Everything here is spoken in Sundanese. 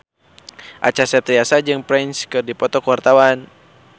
Acha Septriasa jeung Prince keur dipoto ku wartawan